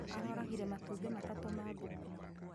Aroragire matumbĩ matatũ ma ngũkũ